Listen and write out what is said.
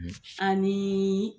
Ani